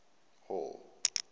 hall